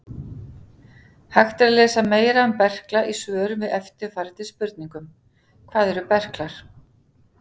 Hægt er að lesa meira um berkla í svörum við eftirfarandi spurningum: Hvað eru berklar?